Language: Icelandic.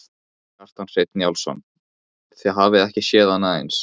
Kjartan Hreinn Njálsson: Þið hafið ekki séð annað eins?